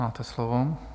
Máte slovo.